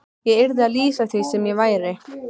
Ég yrði að lýsa því sem væri.